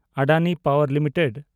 Adani power limited